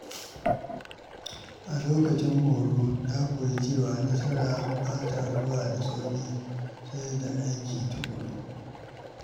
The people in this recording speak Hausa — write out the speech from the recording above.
A lokacin horo, na koyi cewa nasara ba ta zuwa da sauƙi sai da aiki tuƙuru.